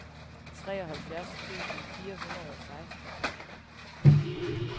treoghalvfjerds tusind fire hundrede og seksten